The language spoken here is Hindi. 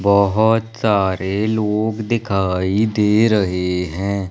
बहोत सारे लोग दिखाई दे रहे हैं।